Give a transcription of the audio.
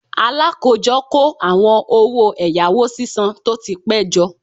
Alakojo ko awon owo eyawo sisan to ti pe jo